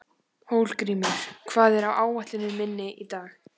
Hólmgrímur, hvað er á áætluninni minni í dag?